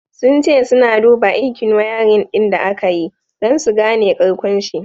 Sun ce suna duba aikin wiring din da aka yi, don su gane karkonshi.